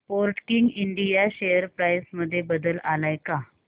Sportking India share price मध्ये बदल आलाय का